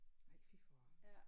Nej fy for